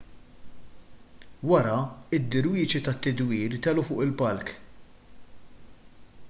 wara id-dirwixi tad-tidwir telgħu fuq il-palk